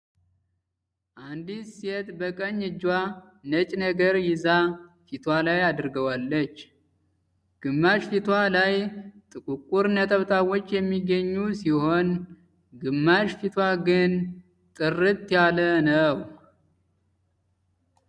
አንዲት ሴት በቀኝ እጇ ነጭ ነገር ይዛ ፊቷ ላይ አድርጋዋለች። ግማሽ ፊቷ ላይ ጥቁቁር ነጠብጣቦች የሚገኙ ሲሆን ግማሽ ፊቷ ግን ጥርት ያለ ነው።